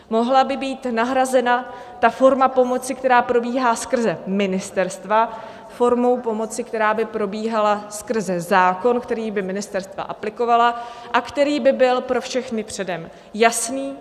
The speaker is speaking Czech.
Mohla by být nahrazena ta forma pomoci, která probíhá skrze ministerstva, formou pomoci, která by probíhala skrze zákon, který by ministerstva aplikovala a který by byl pro všechny předem jasný.